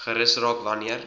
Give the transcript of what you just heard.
gerus raak wanneer